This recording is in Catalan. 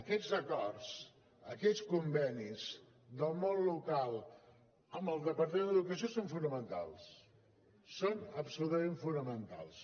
aquests acords aquests convenis del món local amb el departament d’educació són fonamentals són absolutament fonamentals